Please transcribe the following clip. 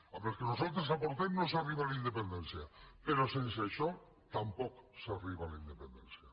amb les que nosaltres aportem no s’arriba a la independència però sense això tampoc s’arriba a la independència